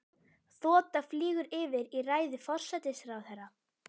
Þota flýgur yfir í ræðu forsætisráðherra.